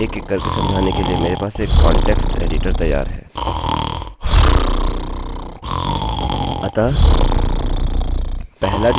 आपको प्रत्येक एरर एकएक करके समझाने के लिए मेरे पास एक कांटेक्स्ट एडिटर तैयार है